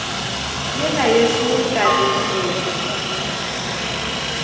yela yešo ka leke ke